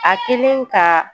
A kɛlen ka